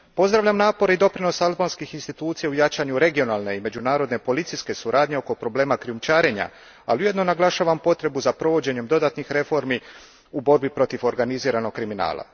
Pozdravljam napore i doprinos albanskih institucija u jačanju regionalne i međunarodne policijske suradnje oko problema krijumčarenja, ali ujedno naglašavam potrebu za provođenjem dodatnih reformi u borbi protiv organiziranog kriminala.